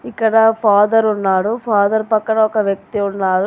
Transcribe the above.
ఇక్కడ ఫాదర్ ఉన్నాడు. ఫాదర్ పక్కన ఒక వ్యక్తి ఉన్నారు.